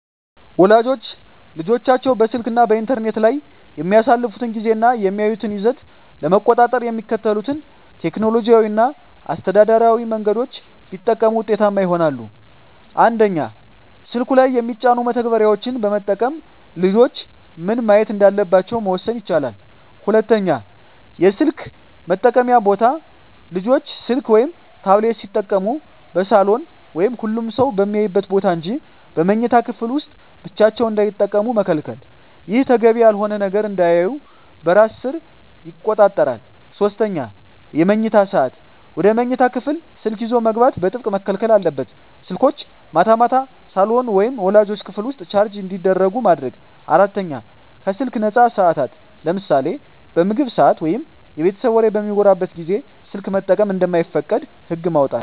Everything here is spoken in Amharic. ወላጆች ልጆቻቸው በስልክ እና በኢንተርኔት ላይ የሚያሳልፉትን ጊዜ እና የሚያዩትን ይዘት ለመቆጣጠር የሚከተሉትን ቴክኖሎጂያዊ እና አስተዳደራዊ መንገዶች ቢጠቀሙ ውጤታማ ይሆናል፦ 1)ስልኩ ላይ የሚጫኑ መተግበሪያዎችን በመጠቀም ልጆች ምን ማየት እንዳለባቸው መወሰን ይቻላል። 2)የስልክ መጠቀምያ ቦታ: ልጆች ስልክ ወይም ታብሌት ሲጠቀሙ በሳሎን ወይም ሁሉም ሰው በሚያይበት ቦታ እንጂ በመኝታ ክፍል ውስጥ ብቻቸውን እንዳይጠቀሙ መከልከል። ይህ ተገቢ ያልሆነ ነገር እንዳያዩ በራስ ሰር ይቆጣጠራል። 3)የመኝታ ሰዓት: ወደ መኝታ ክፍል ስልክ ይዞ መግባት በጥብቅ መከልከል አለበት። ስልኮች ማታ ማታ ሳሎን ወይም ወላጆች ክፍል ውስጥ ቻርጅ እንዲደረጉ ማድረግ። 4)ከስልክ ነፃ ሰዓታት: ለምሳሌ በምግብ ሰዓት ወይም የቤተሰብ ወሬ በሚወራበት ጊዜ ስልክ መጠቀም እንደማይፈቀድ ህግ ማውጣት።